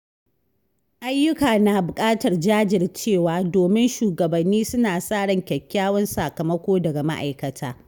Ayyuka na bukatar jajircewa, domin shugabanni suna sa ran kyakkyawan sakamako daga ma’aikata.